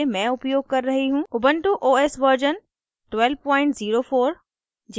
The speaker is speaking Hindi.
ubuntu os version 1204